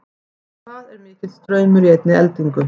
hvað er mikill straumur í einni eldingu